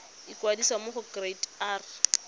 ikwadisa mo go kereite r